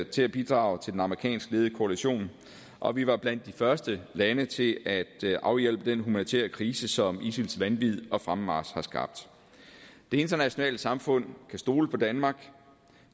til at bidrage til den amerikansk ledede koalition og vi var blandt de første lande til at afhjælpe den humanitære krise som isils vanvid og fremmarch har skabt det internationale samfund kan stole på danmark